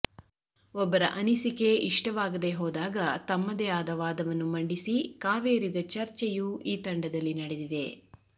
ಒಬ್ಬರ ಅನಿಸಿಕೆ ಇಷ್ಟವಾಗದೆ ಹೋದಾಗ ತಮ್ಮದೇ ಆದ ವಾದವನ್ನು ಮಂಡಿಸಿ ಕಾವೇರಿದ ಚರ್ಚೆಯೂ ಈ ತಂಡದಲ್ಲಿ ನಡೆದಿದೆ